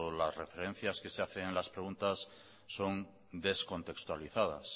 las referencias que se hacen en las preguntas son descontextualizadas